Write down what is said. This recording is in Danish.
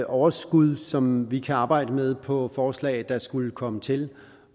overskud som vi kan arbejde med på forslag der skulle komme til